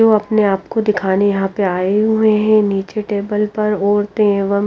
जो अपने आप को दिखाने यहां पे आए हुए हैं नीचे टेबल पर औरतें एवं--